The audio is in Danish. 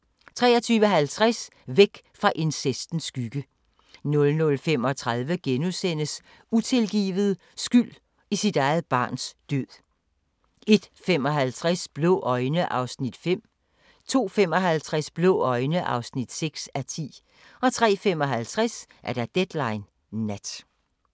23:50: Væk fra incestens skygge 00:35: Utilgivet – skyld i sit eget barns død * 01:55: Blå øjne (5:10) 02:55: Blå øjne (6:10) 03:55: Deadline Nat